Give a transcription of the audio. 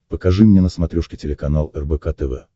покажи мне на смотрешке телеканал рбк тв